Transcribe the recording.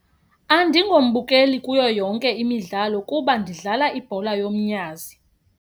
Andingombukeli kuyo yonke imidlalo kuba ndidlala ibhola yomnyazi.